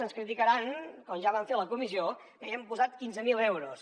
ens criticaran com ja van fer a la comissió que hi hem posat quinze mil euros